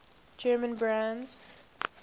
german brands